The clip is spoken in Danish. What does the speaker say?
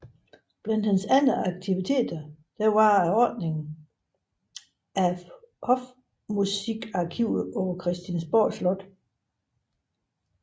Blandt hans andre aktiviteter var ordningen af Hofmusikarkivet på Christiansborg Slot